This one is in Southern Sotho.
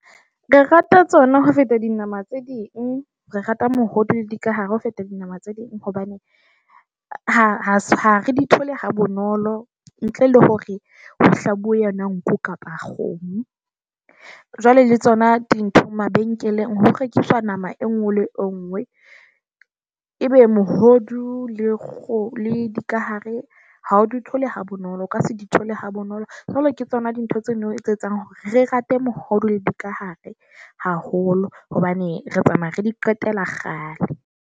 Re rata tsona ho feta dinama tse ding, re rata mohodu le dikahare ho feta dinama tse ding. Hobane ha ha re di thole ha bonolo ntle le hore ho hlabuwe yona nku kapa kgomo, jwale le tsona dintho mabenkeleng, ho rekiswa nama e nngwe le e nngwe. Ebe mohodu le kgo le dikahare ha o di thole ha bonolo. O ka se di thole ha bonolo, jwale ke tsona dintho tseno tse etsang hore re rate mohodu le dikahare haholo, hobane re tsamaya re di qetela kgale.